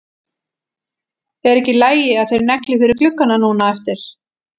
Er ekki í lagi að þeir negli fyrir gluggana núna á eftir?